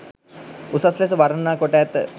උසස් ලෙස වර්ණනා කොට ඇත.